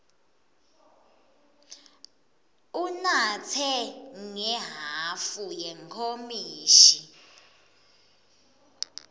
unatse ngehhafu yenkomishi